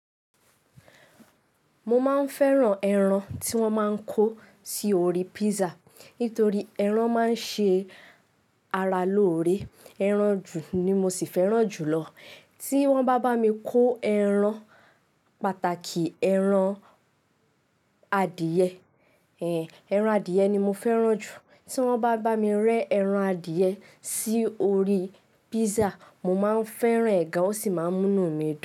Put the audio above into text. Mo máa ń fẹ́ran ẹran tí wọ́n máa ń kó sí orí pizza. Nítorí ẹran máa ń ṣe ara lóore. Eran ju ni mo sì fẹ́ran jùlọ. Tí wọ́n bá bá mi kó ẹran, pàtàkì ẹran adìẹ. Ẹran adìe ni mo fẹ́ran jù. Tí wọ́n bá bá mi rẹ́ ẹran adìẹ sí orí pízza, mo máa ń fẹ́ran e gàn ó sì máa ń múnu mi dùn.